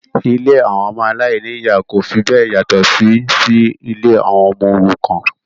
Ilé àwọn aláìní-ìyá kò fi bẹ́ẹ̀ yàtọ̀ sí si ilé àwọn ọmọ òrukàn